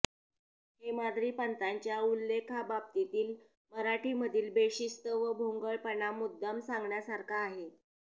हेमाद्रिपंतांच्या उल्लेखाबाबतीतील मराठीमधील बेशिस्त व भोंगळपणा मुद्दाम सांगण्यासारखा आहे